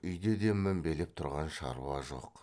үйде де мінбелеп тұрған шаруа жоқ